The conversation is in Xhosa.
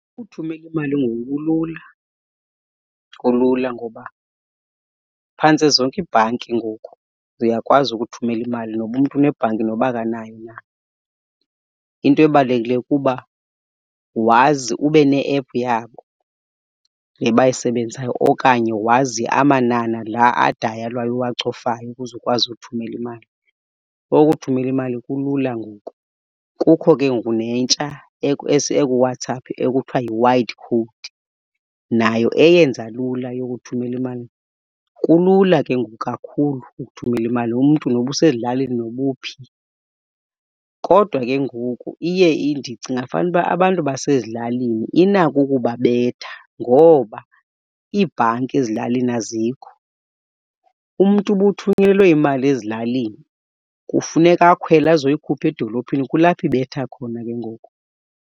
Uthumela imali ngoku kulula. Kulula ngoba phantse zonke iibhanki ngoku uyakwazi ukuthumela imali noba umntu unebhanki noba akanayo na. Into ebalulekileyo kuba wazi ube ne-ephu yabo le bayisebenzisayo okanye wazi amanani la adayalwayo uwacofayo ukuze ukwazi uthumela imali. So ukuthumela imali kulula ngoku. Kukho ke ngoku nentsha ekuWhatsApp ekuthiwa yiWide Code nayo eyenza lula yokuthumela imali. Kulula ke ngoku kakhulu ukuthumela imali umntu noba usezilalini noba uphi. Kodwa ke ngoku iye , ndicinga fanuba abantu basezilalini inako ukubabetha ngoba iibhanki ezilalini azikho. Umntu uba uthunyelelwe imali ezilalini kufuneka akhwele azoyikhupha edolophini, kulapho ibetha khona ke ngoku.